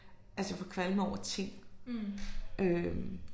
Altså jeg får kvalme over ting øh